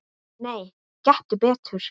Nei, gettu betur